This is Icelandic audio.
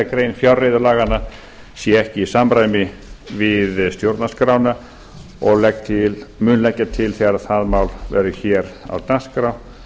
grein fjárreiðulaganna sé ekki í samræmi við stjórnarskrána og mun leggja til þegar það mál verður á dagskrá